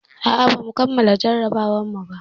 A'a, bamu kammala jarrabawarmu ba.